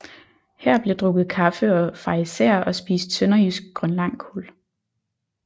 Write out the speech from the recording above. Her bliver drukket kaffe og farisæer og spist sønderjysk grønlangkål